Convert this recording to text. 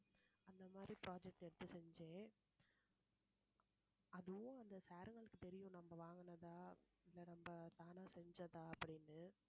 அந்த மாரி project எடுத்து செஞ்சு அதுவும் அந்த sir ங்களுக்கு தெரியும் நம்ம வாங்குனதா இல்லை நம்ம தானா செஞ்சதா அப்படின்னு